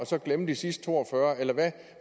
så glemme de sidste to og fyrre eller